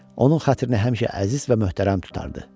Onun xətrini həmişə əziz və möhtərəm tutardı.